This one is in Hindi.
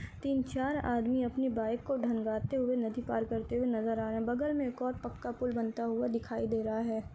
--तीन चार आदमी अपनी बाइक को ढंगाते हुए नदी पार करते हुए नज़र आ रहे है बगल में बहुत पक्का पूल बनते हुए नज़र आ रहा है।